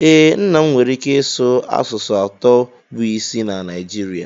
ee, nna m nwere ike ịsụ asụsụ atọ bụ isi na Naijirịa